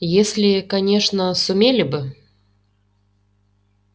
если конечно сумели бы